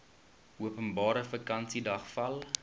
openbare vakansiedag val